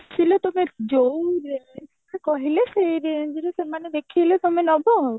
ଆସିଲେ ତମର ଯୋଉ range ରେ କହିଲେ ସେଇ range ରେ ସେମାନେ ଦେଖେଇଲେ ତମେ ନବ ଆଉ